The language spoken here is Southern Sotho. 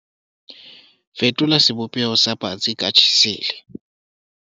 fetola sebopeho sa patsi ka tjhesele